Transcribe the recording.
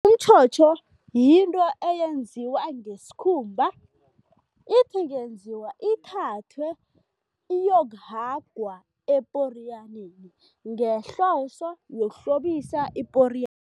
Umtjhotjho yinto eyenziwa ngesikhumba, ithi ingenziwa, ithathwe iyokuhagwa eporiyaneni ngehloso yokuhlobisa iporiyana.